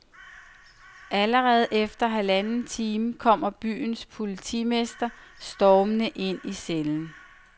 Allerede efter halvanden time kommer byens politimester stormende ind i cellen.